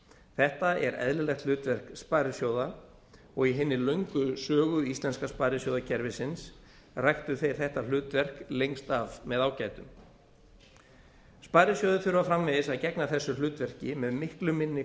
þetta er eðlilegt hlutverk sparisjóða og í hinni löngu sögu íslenska sparisjóðakerfisins ræktu þeir þetta hlutverk lengst af með ágætum sparisjóðir þurfa framvegis að gegna þessu hlutverki með miklu minni